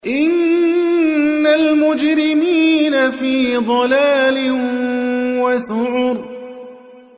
إِنَّ الْمُجْرِمِينَ فِي ضَلَالٍ وَسُعُرٍ